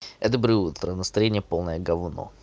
доброе утро настроение полная говно